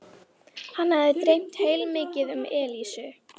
Hann hafði dreymt heilmikið um Elísu.